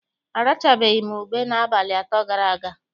Arachabeghị m ube n'abalị atọ gara aga.